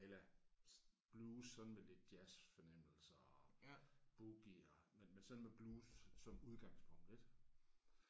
Eller blues sådan med lidt jazzfornemmelser og boogie og men men sådan med blues som udgangspunkt ik